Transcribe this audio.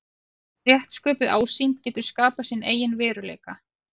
Rétt sköpuð ásýnd getur skapað sinn eigin veruleika.